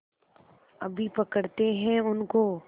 अभी पकड़ते हैं उनको